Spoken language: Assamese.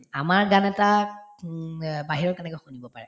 আমাৰ গান এটা উম আ বাহিৰত কেনেকৈ শুনিব পাৰে